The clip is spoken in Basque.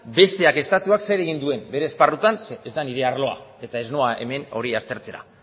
besteak estatuak zer egin duen bere esparrutan zeren ez da nire arloa eta ez noa hemen ni aztertzera